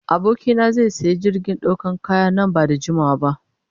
Abokina zai sayi jirgin dakon kaya nan ba da jimawa ba.